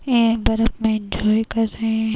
ऐ बरफ में एन्जॉय कर रहे --